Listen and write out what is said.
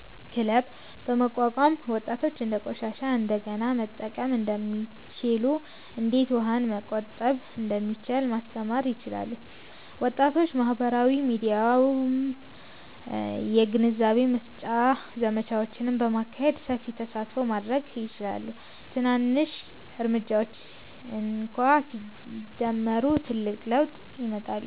ክለብ” በማቋቋም ወጣቶች እንዴት ቆሻሻን እንደገና መጠቀም እንደሚችሉ፣ እንዴት ውሃን መቆጠብ እንደሚቻል ማስተማር ይችላሉ። ወጣቶች በማህበራዊ ሚዲያም የግንዛቤ ማስጨበጫ ዘመቻዎችን በማካሄድ ሰፊ ተሳትፎ ማድረግ ይችላሉ። ትናንሽ እርምጃዎች እንኳ ሲደመሩ ትልቅ ለውጥ ያመጣሉ።